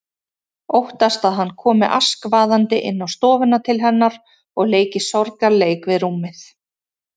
Óttast að hann komi askvaðandi inn á stofuna til hennar og leiki sorgarleik við rúmið.